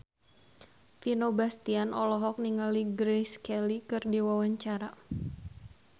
Vino Bastian olohok ningali Grace Kelly keur diwawancara